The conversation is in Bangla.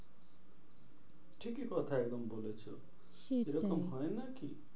ঠিকই কথা একদম বলেছো সেটাই এরকম হয় নাকি?